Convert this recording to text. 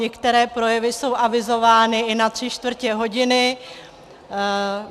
Některé projevy jsou avizovány i na tři čtvrtě hodiny.